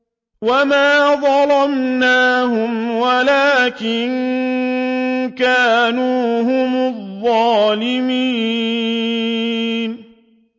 وَمَا ظَلَمْنَاهُمْ وَلَٰكِن كَانُوا هُمُ الظَّالِمِينَ